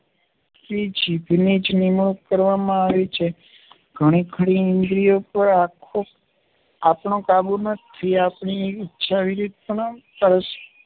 જીભની જ નિમણૂક કરવામાં આવી છે. ઘણીખરી ઇન્દ્રિયો પર આખો આપણો કાબૂ નથી. આપણી ઇચ્છા વિરુદ્ધ પણ પર